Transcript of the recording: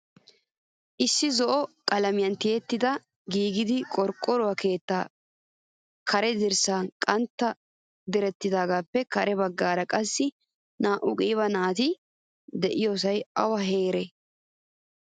Issi zo'o qalamiyan tiyettidi giigida qorqoro keetta karen dirssay qanttan direttidagegene kare baggaara qassi naa'u qiiba naati deiyosay awa heere?